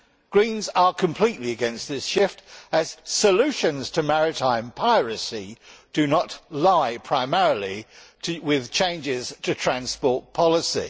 Greens are completely against this shift, as solutions to maritime piracy do not lie primarily with changes to transport policy.